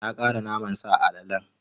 Na ƙara naman sa a alalen.